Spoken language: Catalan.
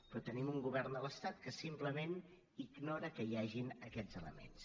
però tenim un govern de l’estat que simplement ignora que hi hagin aquests elements